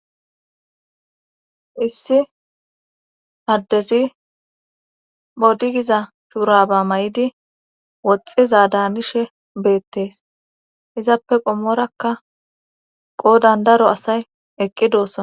Issi haddezi bodigiza shuuraba may7idi woxxiza daanishe beettees izappe qommorakka qoo dandaro asay eqqi doossana.